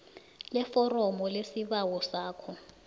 leforomo lesibawo sakho